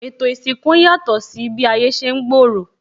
Ètò isinku ń yàtò si bi ayé ṣe ń gbooro